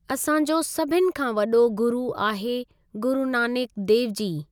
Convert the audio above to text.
असांजो सभिनि खां वॾो गुरू आहे गुरु नानक देव जी।